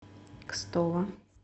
кстово